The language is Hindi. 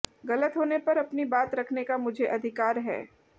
गलत होने पर अपनी बात रखने का मुझे अधिकार है